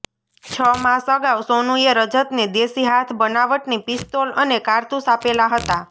છ માસ અગાઉ સોનુએ રજતને દેશી હાથ બનાવટની પિસ્તોલ અને કારતુસ આપેલા હતા